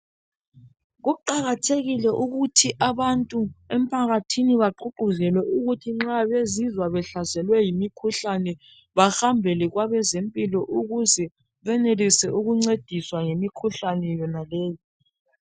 Kuqakathekile ukuthi abantu emphakathini bagqugquzelwe ukuthi nxa bezizwa behlaselwe yimikhuhlane behambele kwabezempilo ukuze benelise ukuncediswa ngemikhuhlane yona leyi.